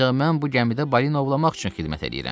Ancaq mən bu gəmidə balina ovlamaq üçün xidmət eləyirəm.